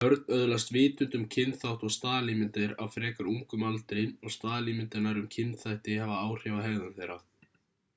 börn öðlast vitund um kynþátt og staðalímyndir á frekar ungum aldri og staðalímyndirnar um kynþætti hafa áhrif á hegðun þeirra